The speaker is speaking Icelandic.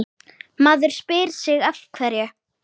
Maður spyr sig af hverju?